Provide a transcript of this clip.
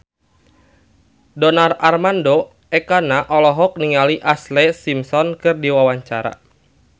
Donar Armando Ekana olohok ningali Ashlee Simpson keur diwawancara